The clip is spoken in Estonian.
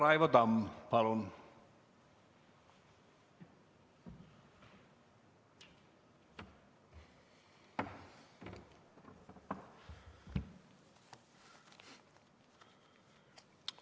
Raivo Tamm, palun!